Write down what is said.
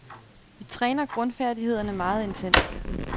Vi træner grundfærdighederne meget intenst.